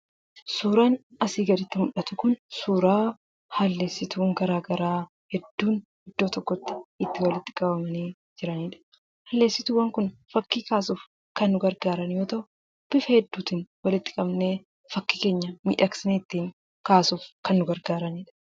Suuraan asii gaditti mul'atu kun suuraa halleessituuwwan garaagaraa iddoo tokkotti itti walitti qabamanii jiranidha. Halleessituuwwan kun fakkii kaasuuf kan nu gargaaran yoo ta'u, bifa hedduutiin walitti qabnee fakkii keenya miidhagsinee ittiin kaasuuf kan nu gargaaranidha.